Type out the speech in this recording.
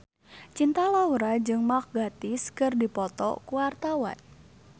Cinta Laura jeung Mark Gatiss keur dipoto ku wartawan